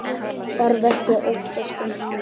Þarf ekki að óttast um hana.